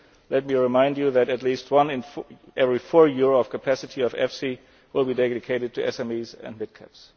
EIB. Let me remind you that at least one in every four euro of capacity of EFSI will be dedicated to SMEs and midcaps.